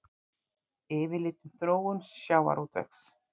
Yfirlit um þróun sjávarútvegs.